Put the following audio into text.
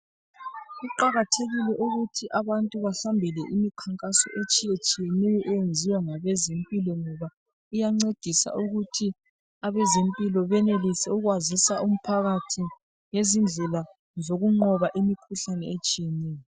Kuqakathekile ukuthi abantu basondele imikhankaso etshiyetshiyeneyo eyenziwa ngabezempilo ngoba iyancedisa ukuthi abezempilo benelise ukwazisa umphakathi ngezindlela zokunqoba imikhuhlane etshiyeneyo.